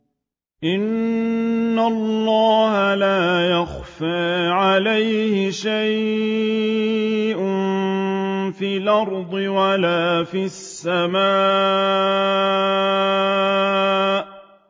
إِنَّ اللَّهَ لَا يَخْفَىٰ عَلَيْهِ شَيْءٌ فِي الْأَرْضِ وَلَا فِي السَّمَاءِ